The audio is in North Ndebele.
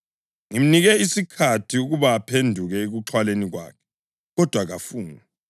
Ngimnike isikhathi ukuba aphenduke ekuxhwaleni kwakhe, kodwa kafuni.